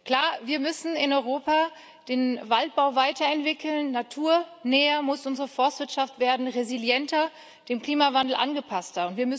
Klar, wir müssen in Europa den Waldbau weiterentwickeln, naturnäher muss unsere Forstwirtschaft werden, resilienter, dem Klimawandel angepasster.